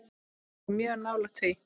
Við vorum mjög nálægt því.